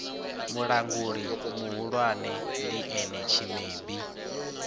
mulanguli muhulwane ndi ene tshimebi